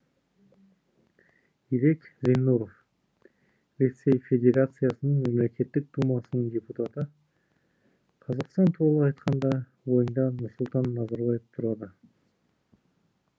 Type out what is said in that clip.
ирек зиннуров ресей федерациясының мемлекеттік думасының депутаты қазақстан туралы айтқанда ойыңда нұрсұлтан назарбаев тұрады